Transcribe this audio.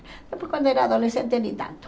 Depois, quando era adolescente, nem tanto.